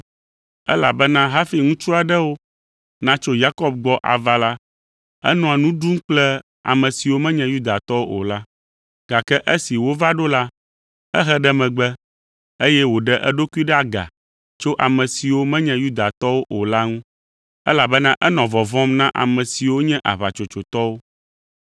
Elabena hafi ŋutsu aɖewo natso Yakobo gbɔ ava la, enɔa nu ɖum kple ame siwo menye Yudatɔwo o la. Gake esi wova ɖo la, ehe ɖe megbe, eye wòɖe eɖokui ɖe aga tso ame siwo menye Yudatɔwo o la ŋu, elabena enɔ vɔvɔ̃m na ame siwo nye aʋatsotsotɔwo.